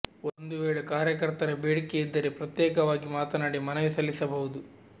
ಒಂದು ವೇಳೆ ಕಾರ್ಯಕರ್ತರ ಬೇಡಿಕೆ ಇದ್ದರೆ ಪ್ರತ್ಯೇಕವಾಗಿ ಮಾತನಾಡಿ ಮನವಿ ಸಲ್ಲಿಸಬಹುದು